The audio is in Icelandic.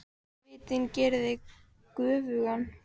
Svitinn gerir þig göfugan.